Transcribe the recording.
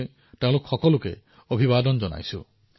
মই তেওঁলোক সকলোকে অভিবাদন জনাইছো